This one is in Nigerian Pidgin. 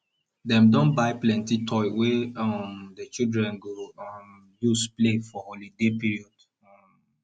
dem don buy plenty toy wey um di children go um use play for holiday period um